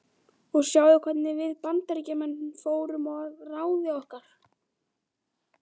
Og sjáðu hvernig við Bandaríkjamenn fórum að ráði okkar.